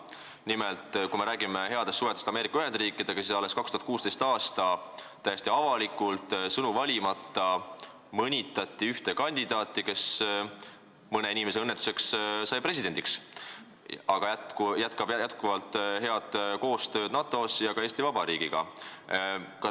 Nimelt, me räägime headest suhetest Ameerika Ühendriikidega, aga alles 2016. aastal mõnitati täiesti avalikult, sõnu valimata ühte kandidaati, kes mõne inimese õnnetuseks sai presidendiks, aga jätkab head koostööd NATO ja ka Eesti Vabariigiga.